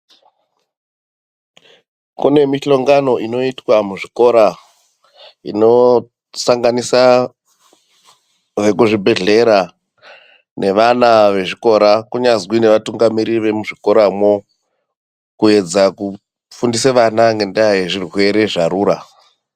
Kune mihongano inoitwa muzvikora inosanganisa vekuzvibhedhlera nevana ezvikora kunyazwi nevatungamiriri vemuzvikoramwo kuedza kufundise vana ngendaa yezvirwere zvarura.